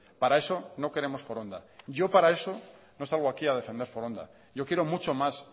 para eso no queremos foronda yo para eso no salgo aquí a defender foronda yo quiero mucho más